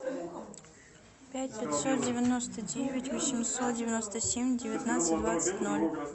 пять пятьсот девяносто девять восемьсот девяносто семь девятнадцать двадцать ноль